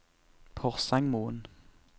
Porsangmoen